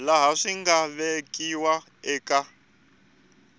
laha swi nga vekiwa eka